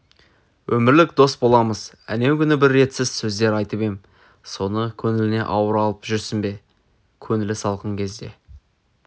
өмірлік дос боламыз әнеу күні бір ретсіз сөздер айтып ем соны көңіліңе ауыр алып жүрсің бе көңілі салқын кезде